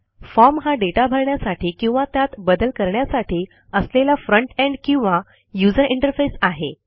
form हा दाता भरण्यासाठी किंवा त्यात बदल करण्यासाठी असलेला फ्रंट एंड किंवा यूझर इंटरफेस आहे